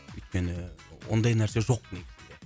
өйткені ондай нәрсе жоқ негізінде